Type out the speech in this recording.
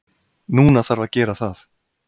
Núna þarf að gera það.